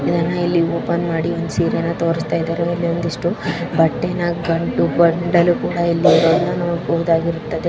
ಇದನ್ನ ಇಲ್ಲಿ ಓಪನ್ ಮಾಡಿ ಒಂದ್ ಸೀರೇನಾ ತೋರಸತ್ತಿದರೆ ಅಲ್ಲಿ ಒಂದಿಷ್ಟು. ಬಟ್ಟೇನಾ ಗಂಟು ಬಂಡಲು ಕೂಡ ಇಲ್ ಇರೋದ್ನ ನೋಡಬಹುದಾಗಿದೆ .